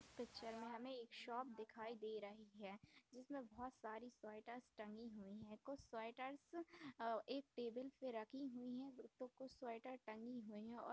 picture में हमें एक शॉप दिखाई दे रही है जिसमे बहुत सारी स्वेटर टंगी हुई है कुछ स्वेटर टेबल पर रखी हुई है तो कुछ स्वेटर टंगी हुई है और --